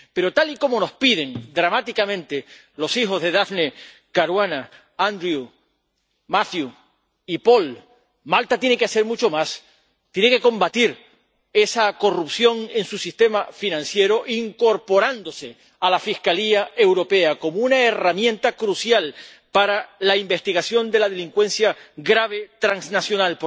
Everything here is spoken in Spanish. Pero, tal y como nos piden dramáticamente los hijos de Daphne Caruana, Andrew, Matthew y Paul, Malta tiene que hacer mucho más. Tiene que combatir esa corrupción en su sistema financiero, incorporándose a la Fiscalía Europea como una herramienta crucial para la investigación de la delincuencia grave transnacional.